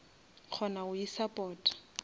kgona go isupporta